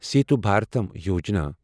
Setu Bharatam Yojana